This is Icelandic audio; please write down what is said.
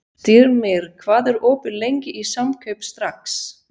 Styrmir, hvað er opið lengi í Samkaup Strax?